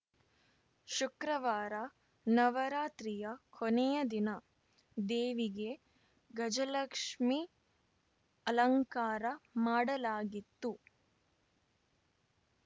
ಶುಕ್ರವಾರ ನವರಾತ್ರಿಯ ಕೊನೆಯ ದಿನ ದೇವಿಗೆ ಗಜಲಕ್ಷ್ಮಿ ಅಲಂಕಾರ ಮಾಡಲಾಗಿತ್ತು